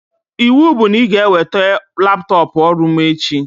Iwu bụ na ị ga-eweta laptọpụ ọrụ mụ echi!